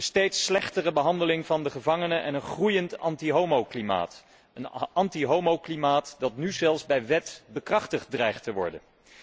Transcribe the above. De steeds slechtere behandeling van gevangenen en een groeiend antihomoklimaat, een antihomoklimaat dat nu zelfs bij wet bekrachtigd dreigt te worden.